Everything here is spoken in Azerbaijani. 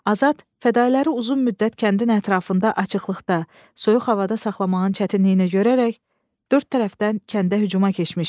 Azad fədalıları uzun müddət kəndin ətrafında açıqlıqda, soyuq havada saxlamağın çətinliyini görərək dörd tərəfdən kəndə hücuma keçmişdi.